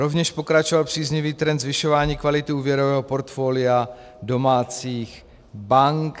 Rovněž pokračoval příznivý trend zvyšování kvality úvěrového portfolia domácích bank.